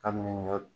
Kabini